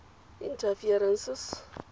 interferences